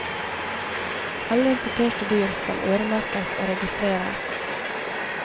Alle importerte dyr skal øremerkes og registreres.